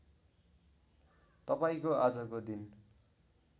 तपाईँको आजको दिन